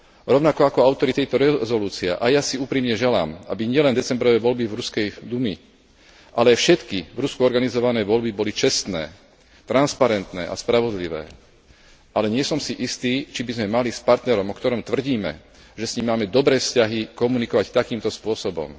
Rovnako ako autori tejto rezolúcie, aj ja si úprimne želám, aby nielen decembrové voľby do ruskej dumy, ale všetky v Rusku organizované voľby boli čestné, transparentné a spravodlivé, ale nie som si istý, či by sme mali s partnerom, o ktorom tvrdíme, že s ním máme dobré vzťahy, komunikovať takýmto spôsobom.